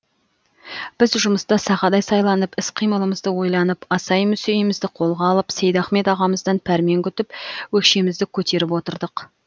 біз жұмыста сақадай сайланып іс қимылымызды ойланып асай мүсейімізді қолға алып сейдахмет ағамыздан пәрмен күтіп өкшемізді көтеріп отырдық